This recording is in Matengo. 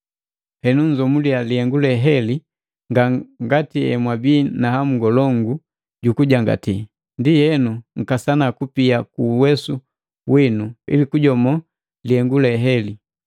Henu nnzomuliya lihengu leheli, ngati emwabii na hamu ngolongu jukujangati, ndienu nkasana kupia kuuwesu winu ili kujomo lihengu heli.